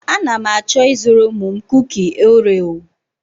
A na m achọ ịzụrụ ụmụ m kuki oreo.